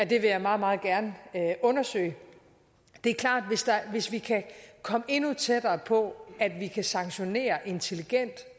det vil jeg meget meget gerne undersøge det er klart at hvis vi kan komme tættere på at vi kan sanktionere intelligent